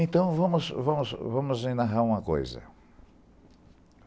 Então, vamos, vamos, vamos enarrar uma coisa.